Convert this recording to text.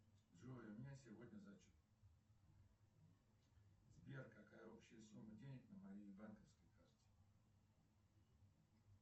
джой у меня сегодня зачет сбер какая общая сумма денег на моей банковской карте